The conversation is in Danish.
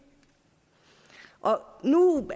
nu